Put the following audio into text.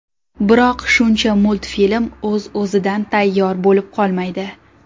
Biroq shuncha multfilm o‘z-o‘zidan tayyor bo‘lib qolmaydi.